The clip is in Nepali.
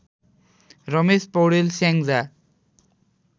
रमेश पौडेल स्याङ्जा